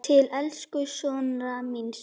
Til elsku Snorra míns.